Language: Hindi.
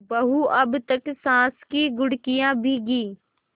बहू अब तक सास की घुड़कियॉँ भीगी